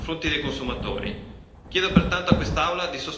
Chiedo pertanto a quest'Aula di sostenere questi emendamenti.